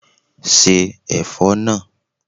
Se ẹ̀fọ́ náà!